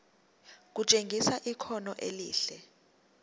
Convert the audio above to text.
kutshengisa ikhono elihle